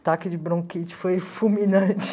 ataque de bronquite foi fulminante.